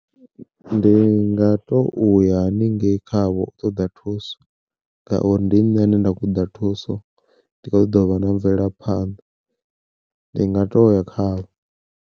Ndi nga to uya haningei khavho u ṱoḓa thuso, ngauri ndi nṋe ane nda khou ṱoḓa thuso ndi ṱoḓa uvha na mvelaphanḓa ndi nga to ya khavho.